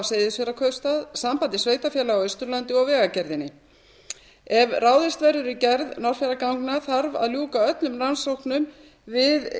seyðisfjarðarkaupstað sambandi sveitarfélaga á austurlandi og vegagerðinni ef ráðist verður í gerð norðfjarðarganga þarf að ljúka öllum rannsóknum við